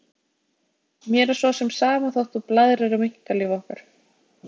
Mér er svo sem sama þótt þú blaðrir um einkalíf okkar.